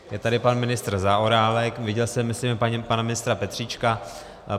Je tady pan ministr Zaorálek, viděl jsem, myslím, pana ministra Petříčka.